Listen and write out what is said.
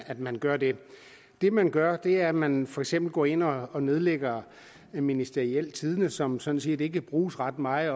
at man gør det det man gør er at man for eksempel går ind og og nedlægger ministerialtidende som sådan set ikke bruges ret meget